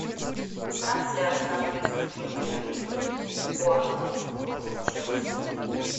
трансляция английской премьер лиги борнмут против челси